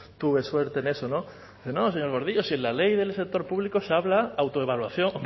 tuve suerte en eso dice no señor gordillo si en la ley del sector público se habla autoevaluación